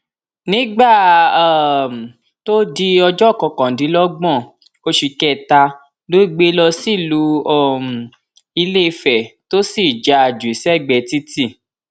nígbà um tó di ọjọ kọkàndínlọgbọn oṣù kẹta ló gbé e lọ sílùú um ilẹfẹ tó sì já a jù sẹgbẹẹ títì